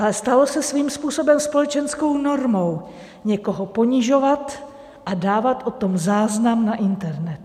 Ale stalo se svým způsobem společenskou normou někoho ponižovat a dávat o tom záznam na internet.